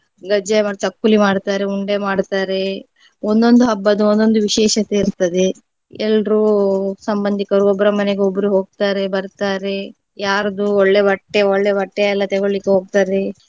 ಗಜ್ಜಾಯ ಮತ್ತೆ ಚಕ್ಕುಲಿ ಮಾಡ್ತಾರೆ ಉಂಡೆ ಮಾಡ್ತಾರೆ ಒಂದೊಂದು ಹಬ್ಬದ ಒಂದೊಂದು ವಿಶೇಷತೆ ಇರ್ತದೆ. ಎಲ್ರೂ ಸಂಬಂಧಿಕರು ಒಬ್ರ ಮನೆಗೆ ಒಬ್ರು ಹೋಗ್ತಾರೆ ಬರ್ತಾರೆ ಯಾರದ್ದು ಒಳ್ಳೆ ಬಟ್ಟೆ ಒಳ್ಳೆ ಬಟ್ಟೆ ಎಲ್ಲಾ ತೆಗೊಳ್ಳಿಕ್ಕೆ ಹೋಗ್ತಾರೆ.